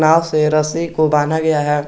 नाव से रस्सी को बान्हा गया है।